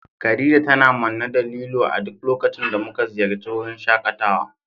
Khadija tana manne da lilo a duk lokacin da muka ziyarci wurin shakatawa.